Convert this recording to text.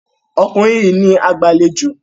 Ọkùnrin yìí ní agbàlejò